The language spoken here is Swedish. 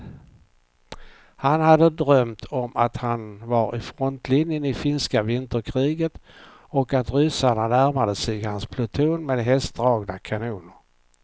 Han hade drömt om att han var i frontlinjen i finska vinterkriget och att ryssarna närmade sig hans pluton med hästdragna kanoner.